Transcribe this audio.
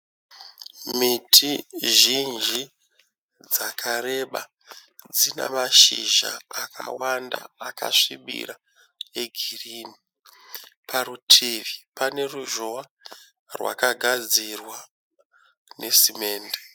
Miti zhinji dzakareba dzina mashizha akawanda akasvibira e girini. Parutivi pane ruzhowa rwakagadzirwa nesimende.